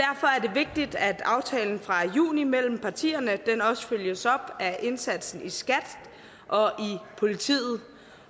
vigtigt at aftalen fra juni mellem partierne også følges op af indsatsen i skat og i politiet